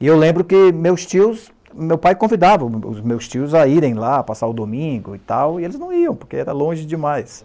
e eu lembro que meus tios, meu pai convidava os os meus tios a irem lá, passar o domingo e tal, e eles não iam, porque era longe demais.